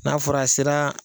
N'a fɔra a sera